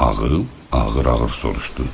Ağıl ağır-ağır soruşdu.